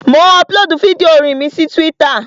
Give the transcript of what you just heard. Mò ń ọpulóòdù fídíò orin mi sí túwítà